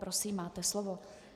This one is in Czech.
Prosím, máte slovo.